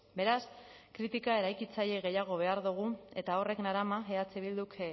beraz kritika eraikitzaile gehiago behar dugu eta horrek narama eh bilduk